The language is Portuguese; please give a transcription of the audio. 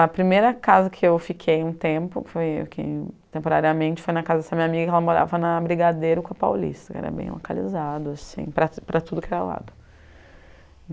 A primeira casa que eu fiquei um tempo, foi eu fiquei temporariamente, foi na casa dessa minha amiga que ela morava na Brigadeiro com a Paulista, era bem localizado, assim, para para tudo que era lado.